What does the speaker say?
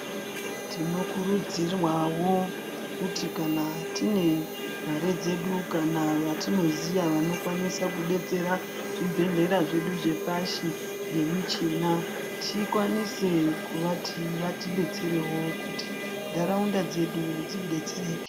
Tino kurudzirwawo kuti kana tine mare dzedu kana vatino ziya vanokwanisa kudetsera zvi bhedhlera zvedu zvepashi nge michina tikwanise kuvati vati detserewo kuti ndaraunda dzedu dzi detsereke.